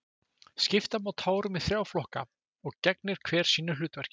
skipta má tárum í þrjá flokka og gegnir hver sínu hlutverki